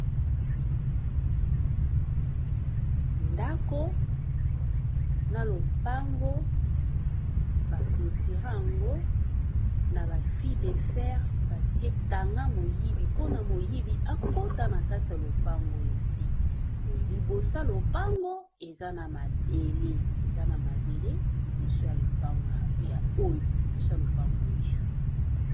Ndako na lopango ba clotura yango na ba fil de fer batie kanga moyibi mpona moyibi akota na kati ya lopango oyo te, liboso ya lopango eza na mabele eza na mabele liboso ya lopango oyo.